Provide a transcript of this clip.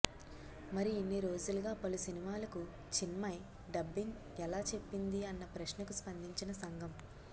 మరి ఇన్నిరోజులుగా పలు సినిమాలకు చిన్మయి డబ్బింగ్ ఎలా చెప్పింది అన్న ప్రశ్నకు స్పందించిన సంఘం